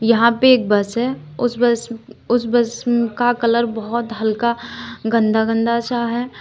यहां पे एक बस है उस बस उस बस का कलर बोहोत हल्का गंदा गंदा सा है।